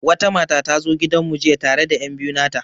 Wata mata ta zo gidan mu jiya tare da enbiyu nata.